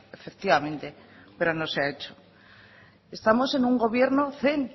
efectivamente pero no se ha hecho estamos en un gobierno zen